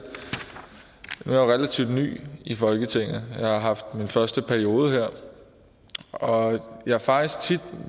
nu jo relativt ny i folketinget jeg har haft min første periode her og jeg har faktisk tit